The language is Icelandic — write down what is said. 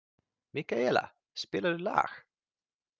Mikaelína, spilaðu lag.